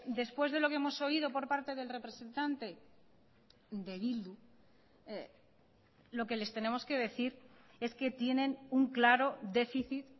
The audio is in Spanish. después de lo que hemos oído por parte del representante de bildu lo que les tenemos que decir es que tienen un claro déficit